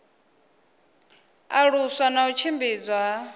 alusa na u tshimbidzwa ha